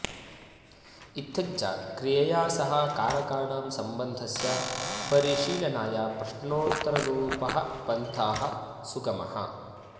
इत्थञ्च क्रियया सह कारकाणां सम्बन्धस्य परिशीलनाय प्रश्नोत्तररुपः पन्थाः सुगमः